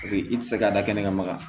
Paseke i tɛ se ka da kɛnɛ ka maga